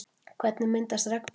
Hvernig myndast regnboginn?